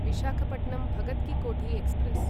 Visakhapatnam Bhagat ki Kothi express